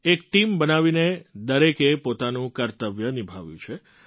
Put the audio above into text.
એક ટીમ બનાવીને દરેકે પોતાનું કર્તવ્ય નિભાવ્યું છે